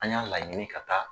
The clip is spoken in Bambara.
An y'a laɲini ka taa